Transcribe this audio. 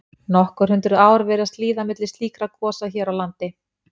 Nokkur hundruð ár virðast líða milli slíkra gosa hér á landi.